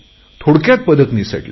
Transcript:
थोडक्यात पदक निसटले